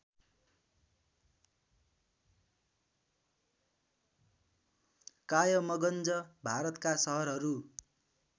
कायमगंज भारतका सहरहरू